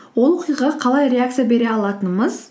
ол оқиғаға қалай реакция бере алатынымыз